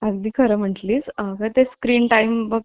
अगदी खरं म्हटले आहे. screen time बघ